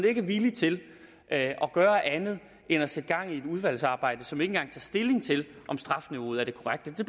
ikke er vilje til at gøre andet end at sætte gang i et udvalgsarbejde som ikke engang tager stilling til om strafniveauet er det korrekte det